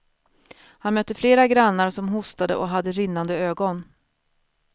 Han mötte flera grannar som hostade och hade rinnande ögon.